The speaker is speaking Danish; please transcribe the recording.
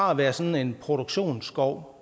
har været sådan produktionsskov